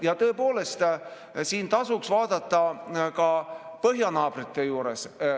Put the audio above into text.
Ja tõepoolest, siin tasuks vaadata ka põhjanaabrite juurest.